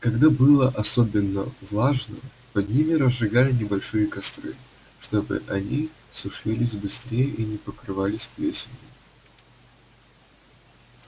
когда было особенно влажно под ними разжигали небольшие костры чтобы они сушились быстрее и не покрывались плесенью